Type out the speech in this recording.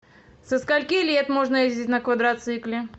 со скольки лет можно ездить на квадроцикле